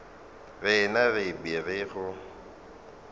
rena re be re go